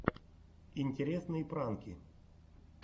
интересные пранки